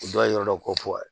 O dɔw yɛrɛ ko